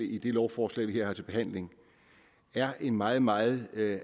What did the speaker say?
i det lovforslag vi har til behandling er en meget meget